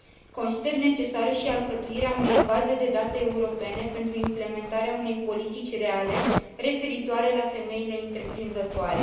Consider necesară și alcătuirea unei baze de date europene pentru implementarea unei politici reale referitoare la femeile întreprinzătoare.